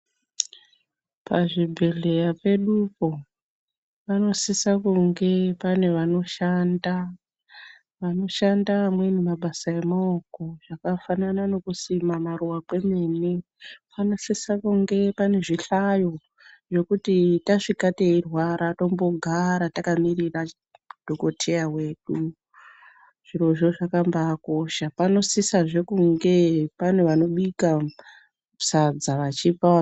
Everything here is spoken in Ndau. Pazvibhedhleya pedupo panosisa kunge paine wanoshanda, wanoshanda amweni mabasa emaoko zvakafanana nekusima maruwa kwemene panosisa kunge paine zvihlayo zvekuti tasvika teirwara tombo gaara takamirira dhokoteya wedu, zvirozvo zvakabaakosha. Panosisazve kunge pane wanobika sadza wachipawo..